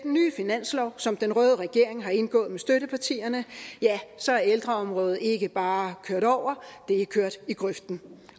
finanslov som den røde regering har indgået med støttepartierne ja så er ældreområdet ikke bare kørt over det er kørt i grøften